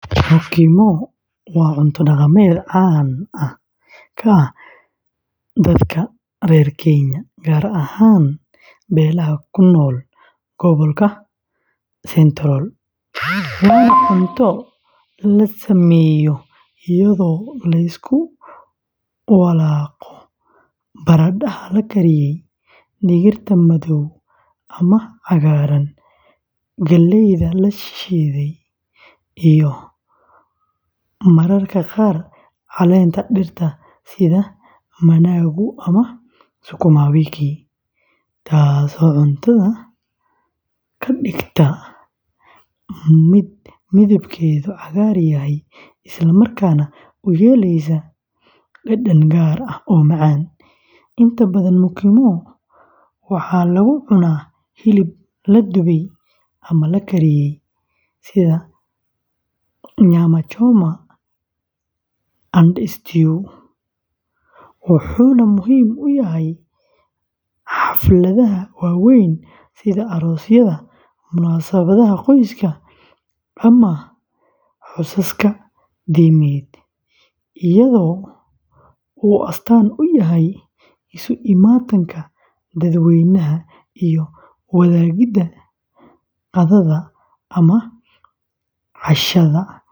Mukimo waa cunto dhaqameed caan ka ah dadka reer Kenya, gaar ahaan beelaha ku nool gobolka Central, waana cunto la sameeyo iyadoo la isku walaabo baradhada la kariyey, digirta madow ama cagaaran, galleyda la shiiday, iyo mararka qaar caleenta dhirta sida managu and sukuma wiki, taasoo cuntada ka dhigta mid midabkeedu cagaar yahay islamarkaana u yeelaysa dhadhan gaar ah oo macaan; inta badan mukimo waxaa lagu cunaa hilib la dubay ama la kariyey, sida nyama choma and stew, wuxuuna muhiim u yahay xafladaha waaweyn sida aroosyada, munaasabadaha qoyska, ama xusaska diimeed, iyadoo uu astaan u yahay isu imaatinka dadweynaha iyo wadaagidda qadada ama cashada si xushmad leh.